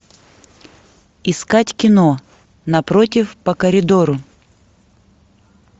искать кино напротив по коридору